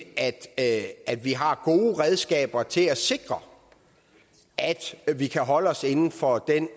at vi har gode redskaber til at sikre at vi kan holde os inden for den